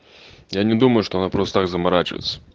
я не думаю что она просто так заморачивается